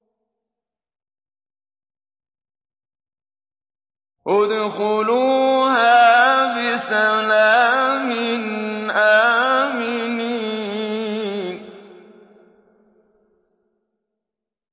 ادْخُلُوهَا بِسَلَامٍ آمِنِينَ